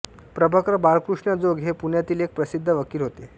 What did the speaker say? प्रभाकर बाळकृष्ण जोग हे पुण्यातील एक प्रसिद्ध वकील होते